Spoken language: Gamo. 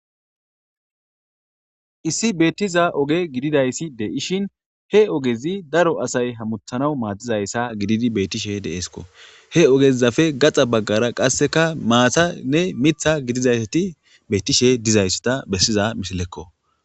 issi beettiza oge gididayssi de7ishin he ogezi daro asay hamuthanaw maatizayssa gididi beettishe deeesko he ogezafe gaxa baggara qasseka maatanne mitha gidizayti bettishe dizaysso ta bessiza misilekko